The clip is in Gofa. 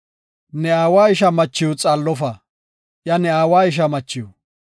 “Ne aawa ishaa machiw xaallofa; iya ne aawa ishaa machiw.